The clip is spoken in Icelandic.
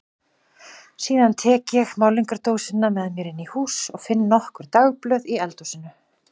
Síðan tek ég málningardósina með mér inn í hús og finn nokkur dagblöð í eldhúsinu.